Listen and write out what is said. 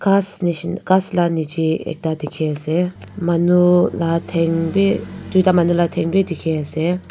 kas nesh kasla nejey ekta dekhe ase manu la thing beh tuita manu la thing beh dekhe ase.